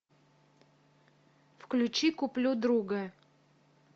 включи куплю друга